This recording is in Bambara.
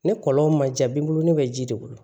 Ne kɔlɔn ma diya n bolo ne bɛ ji de bolo